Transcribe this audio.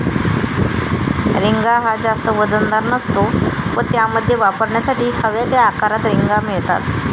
रिंगा हा जास्त वजनदार नसतो व त्यामध्ये वापरण्यासाठी हव्या त्या आकारात रिंगा मिळतात.